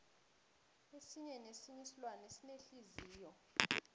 esinye nesinye isilwane sinenhliziyo